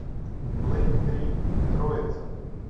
блэйд три троица